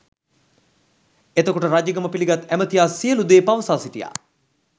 එතකොට රජකම පිළිගත් ඇමතියා සියලූ දේ පවසා සිටියා